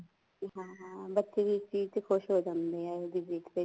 ਹਾਂ ਹਾਂ ਬੱਚੇ ਵੀ ਇਸ ਚੀਜ਼ ਚ ਖੁਸ਼ ਹੋ ਜਾਂਦੇ ਏ ਏਵੇਂ ਦੀ ਵੇਖ ਕੇ